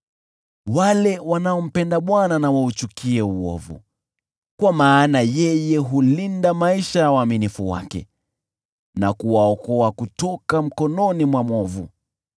Wale wanaompenda Bwana na wauchukie uovu, kwa maana yeye hulinda maisha ya waaminifu wake na kuwaokoa kutoka mkononi mwa mwovu.